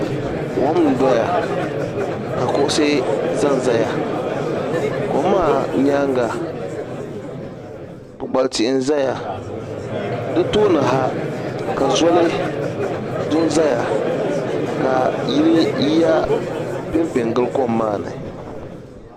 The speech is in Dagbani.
Kom n-doya ka kuɣusi zanzaya kom maa nyaaŋa kpukpali tihi n-zaya di tooni ha ka zoli du zaya ka yiya pempe n-gili kom maa ni.